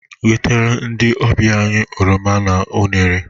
Wetere ndị ọbịa anyị oroma na unere!